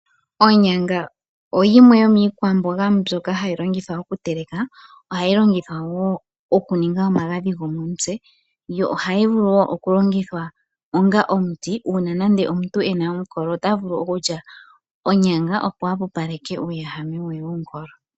Oonyanga oyimwe yoomiikwamboga mbyoka hayi longithwa oku teleka. Ohayi longithwa woo oku ninga omagadhi gomontse. Yo ohayi vulu woo oku longithwa onga omuti uuna nando omuntu ena omukolo ota vulu oku lya onyaka opo ahwepopaleke uuwehame we womukolo.